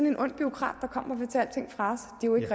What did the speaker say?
en ond bureaukrat der kommer